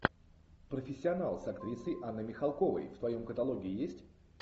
профессионал с актрисой анной михалковой в твоем каталоге есть